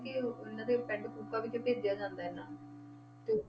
ਤੇ ਇਹਨਾਂ ਦੇ ਪਿੰਡ ਕੂਕਾ ਵਿੱਚ ਭੇਜਿਆ ਜਾਂਦਾ ਹੈ ਇਹਨਾਂ ਨੂੰ ਤੇ